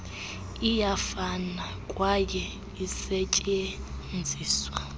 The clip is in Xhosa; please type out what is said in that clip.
iyafana kwaye isetyenziswa